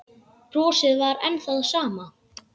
Brosið var enn það sama.